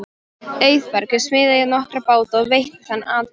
Auðbergur smíðaði nokkra báta og veitti þannig atvinnu.